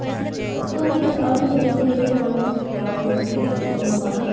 ଅ ତୁ ମତେ ଆଉ ଟିକେ ବୁଝେଇଲୁ କଣ ମୁଁ ଟିକେ ଆଉ ଟିକେ ଲେଖିବୀ କଣ